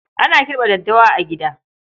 Ana kirɓa daddawa a gida.